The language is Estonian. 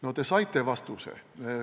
No te saite vastuse.